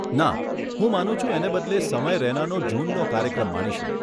ના, હું માનું છું એને બદલે સમય રૈનાનો જૂનનો કાર્યક્રમ માણીશું.